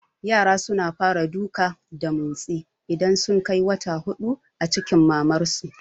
Yara suna fara duka da motsi idan sun kai wata hudu a cikin mamar su